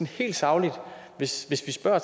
helt sagligt hvis vi spørger